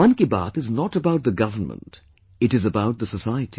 Mann Ki Baat is not about the Government it is about the society